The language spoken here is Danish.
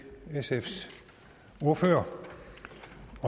sfs ordfører